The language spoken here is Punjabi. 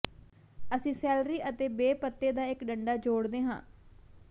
ਅਸੀਂ ਸੈਲਰੀ ਅਤੇ ਬੇ ਪੱਤੇ ਦਾ ਇੱਕ ਡੰਡਾ ਜੋੜਦੇ ਹਾਂ